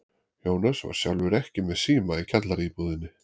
Jónas var sjálfur ekki með síma í kjallaraíbúðinni.